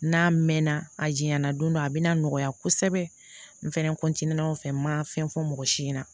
N'a mɛnna a jɛnna don dɔ a bɛna nɔgɔya kosɛbɛ n fɛnɛ o fɛ n ma fɛn fɔ mɔgɔ si ɲɛna